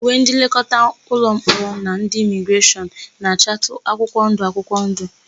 Uwe ndị nlekọta ụlọmkpọrọ na ndị imigreshọn na-achatụ akwụkwọndụ akwụkwọndụ.